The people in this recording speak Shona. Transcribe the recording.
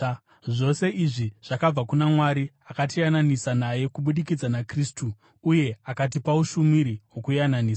Zvose izvi zvakabva kuna Mwari, akatiyananisa naye kubudikidza naKristu uye akatipa ushumiri hwokuyananisa: